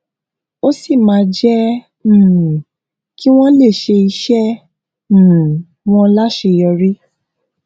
ó sì máa jé um kí wón lè ṣe iṣé um wọn láṣeyọrí